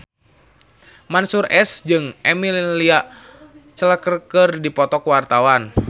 Mansyur S jeung Emilia Clarke keur dipoto ku wartawan